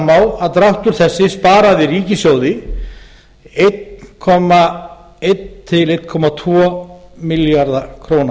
fram á að dráttur þessi sparaði ríkissjóði eins komma eitt til einn komma tvo milljarða króna